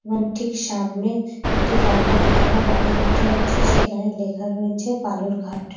এবং ঠিক সামনে একটি লম্বা দোতলা বাড়ি দেখতে পাচ্ছি সেখানে লেখা রয়েছে বালুরঘাট।